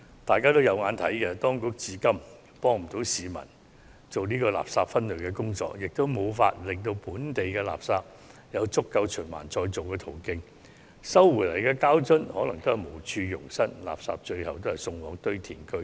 大家可以看到，當局至今無法協助市民進行垃圾分類，亦無法為本地垃圾製造足夠的循環再造途徑，所收回的膠樽可能無處容身，最終仍是被送往堆填區。